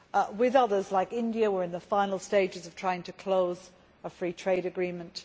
With others, such as India, we are in the final stages of trying to close a free trade agreement.